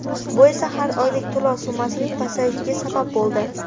Bu esa har oylik to‘lov summasining pasayishiga sabab bo‘ldi.